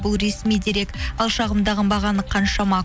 бұл ресми дерек ал қаншама